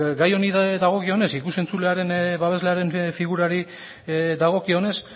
gai honi dagokionez ikus entzulearen babesle figurari dagokionez